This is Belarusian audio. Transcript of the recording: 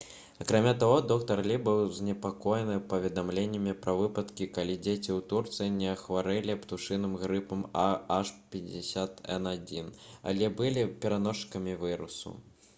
акрамя таго доктар лі быў занепакоены паведамленнямі пра выпадкі калі дзеці ў турцыі не хварэлі птушыным грыпам ah5n1 але былі пераносчыкамі вірусу